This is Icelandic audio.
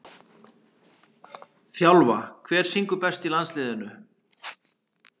þjálfa Hver syngur best í landsliðinu?